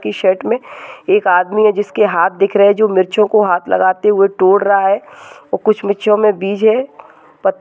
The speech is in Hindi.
के शर्ट मे एक आदमी है जिसके हात दिख रहे है जो मिर्चों कों हात लगते हुए तोड़ रहा है और कुछ मिर्चो मे बीज है। पत--